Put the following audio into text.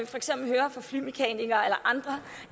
for eksempel hører fra flymekanikere eller andre